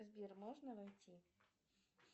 сбер можно войти